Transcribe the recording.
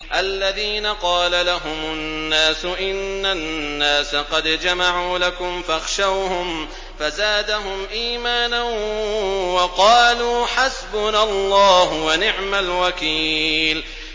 الَّذِينَ قَالَ لَهُمُ النَّاسُ إِنَّ النَّاسَ قَدْ جَمَعُوا لَكُمْ فَاخْشَوْهُمْ فَزَادَهُمْ إِيمَانًا وَقَالُوا حَسْبُنَا اللَّهُ وَنِعْمَ الْوَكِيلُ